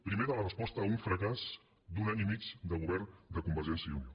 primer de la resposta a un fracàs d’un any i mig de govern de convergència i unió